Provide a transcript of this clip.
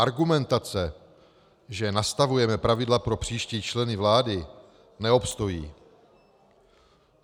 Argumentace, že nastavujeme pravidla pro příští členy vlády, neobstojí.